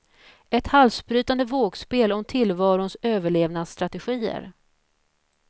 Ett halsbrytande vågspel om tillvarons överlevnadsstrategier.